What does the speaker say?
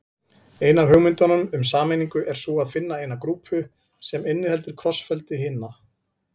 Ein af hugmyndunum um sameiningu er sú að finna eina grúpu sem inniheldur krossfeldi hinna.